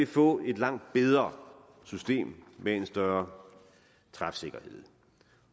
få et langt bedre system med en bedre træfsikkerhed